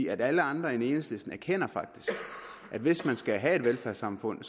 alle andre end enhedslisten erkender faktisk at hvis man skal have et velfærdssamfund